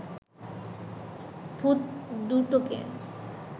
ভূত দুটোকে